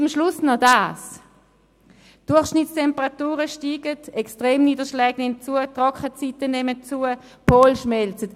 Zum Schluss noch Folgendes: Die Durchschnittstemperaturen steigen, Extremniederschläge und Trockenzeiten nehmen zu, die Polkappen schmelzen.